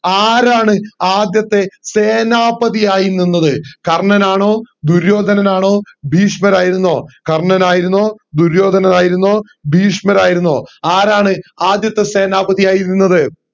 ആരാണ് ആദ്യത്തെ സേനാപതി ആയി നിന്നത് കർണ്ണൻ ആണോ ദുര്യുദ്ധനാണ് ആണോ ഭീഷമർ ആയിരുന്നോ കർണ്ണൻ ആയിരുന്നോ ദുര്യോധനൻ ആയിരുന്നോ ബഹീഷ്മർ ആയിരുന്നോ ആരാണ് ആദ്യത്തെ സേനാപതി ആയി നിന്നത്